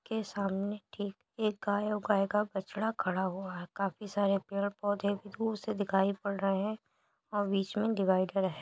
के सामने ठीक एक गाय औ गाय का बछड़ा खड़ा हुआ हैं। काफी सारे पेड़ पौधे भी दूर से दिखाई पड़ रहे हैं औ बीच में डिवाईडर है --